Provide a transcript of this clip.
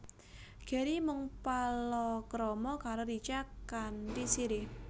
Gary mung palakrama karo Richa kanthi Siri